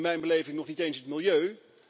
In mijn beleving nog niet eens het milieu.